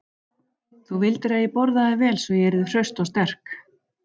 Þú vildir að ég borðaði vel svo ég yrði hraust og sterk.